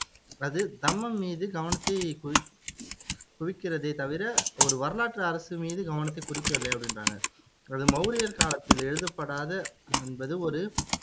அது தம்மம் மீது கவனத்தைக் குவி குவிக்கிறதே தவிர, ஒரு வரலாற்று அரசு மீது கவனத்தைக் குறிக்கவில்லை அப்படின்றாங்க அது மௌரியர் காலத்தில் எழுதப்படாத என்பது ஒரு